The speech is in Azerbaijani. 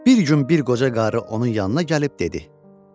Bir gün bir qoca qarı onun yanına gəlib dedi: